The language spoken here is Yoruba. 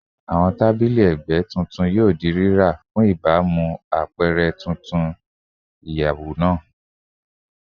Awọn tabili ẹgbẹ titun yoo ra lati baamu apẹrẹ tuntun ti iyẹwu naa